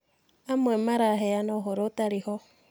Amwe maraheana ũhoro ũtarĩ ho.